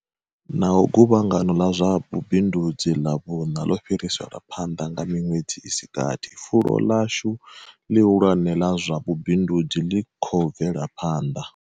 Naho guvhangano ḽa zwa vhubindudzi ḽa vhuṋa ḽo fhi riselwa phanḓa nga miṅwedzi i si gathi, fulo ḽashu ḽihulwane ḽa zwa vhubindudzi ḽi khou bvela phanḓa.